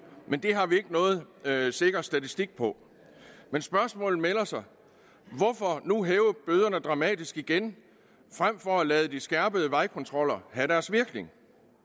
det har vi ikke noget sikker statistik på men spørgsmålet melder sig hvorfor nu hæve bøderne dramatisk igen frem for at lade de skærpede vejkontroller have deres virkning